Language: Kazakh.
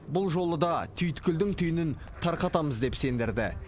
бұл жолы да түйткілдің түйінін тарқатамыз деп сендірді